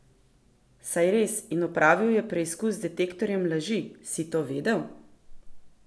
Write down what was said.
Saj res, in opravil je preizkus z detektorjem laži, si to vedel?